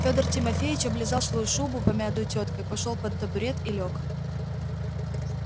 фёдор тимофеич облизал свою шубу помятую тёткой пошёл под табурет и лёг